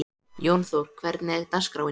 Jónþór, hvernig er dagskráin?